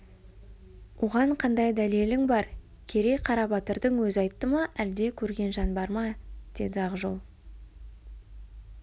оған қандай дәлелің бар керей қарабатырдың өзі айтты ма әлде көрген жан бар ма деді ақжол